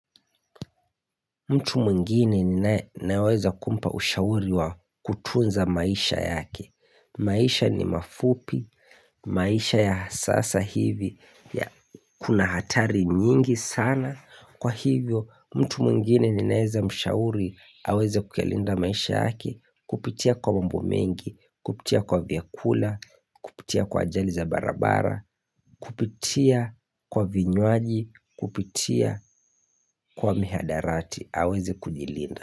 Mtu mwingine ninaweza kumpa ushauri wa kutunza maisha yake maisha ni mafupi, maisha ya sasa hivi ya kuna hatari nyingi sana Kwa hivyo mtu mwingine ni naweza mshauri, aweze kuyalinda maisha yake Kupitia kwa mambo mengi, kupitia kwa vyakula, kupitia kwa ajali za barabara Kupitia kwa vinywaji Kupitia kwa mihadarati aweze kujilinda.